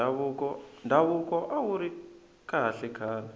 ndhavuko awuri kahle khale